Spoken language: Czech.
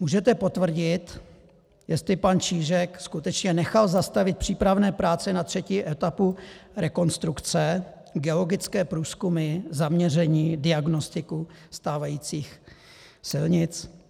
Můžete potvrdit, jestli pan Čížek skutečně nechal zastavit přípravné práce na třetí etapu rekonstrukce, geologické průzkumy, zaměření, diagnostiku stávajících silnic?